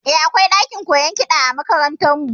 Eh, akwai ɗakin koyon kiɗa a makarantar mu